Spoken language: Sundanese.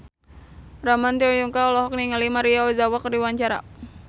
Ramon T. Yungka olohok ningali Maria Ozawa keur diwawancara